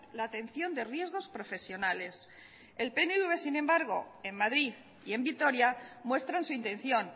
la atención de riesgos profesionales el pnv sin embargo en madrid y en vitoria muestran su intención